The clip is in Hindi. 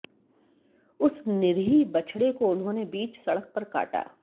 उस निरीह बछड़े को उन्होंने बीच सड़क पर काटा